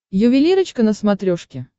ювелирочка на смотрешке